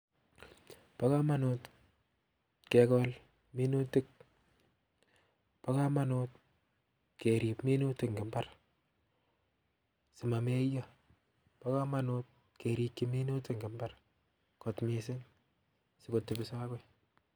Bo komonut kegool minutiik, bo komonut keerib minutia eng imbar simameyoo, bo komonut kerikyii minutik eng imbar kot missing sikotebii akoi